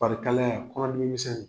Fari kalaya, kɔnɔdimi misɛnnin.